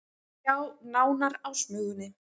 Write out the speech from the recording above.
Sjá nánar á Smugunni